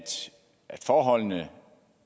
forholdene